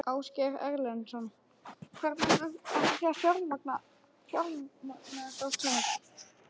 Ásgeir Erlendsson: Hvernig ætlið þið að fjármagna þetta allt saman?